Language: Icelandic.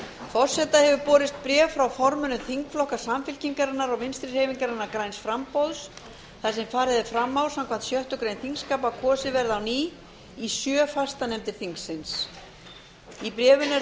forseta hefur borist bréf frá formönnum þingflokka samfylkingarinnar og vinstri hreyfingarinnar græns framboðs þar sem farið er fram á samkvæmt sjöttu greinar þingskapa að kosið verði á ný í sjö fastanefndir þingsins í bréfinu er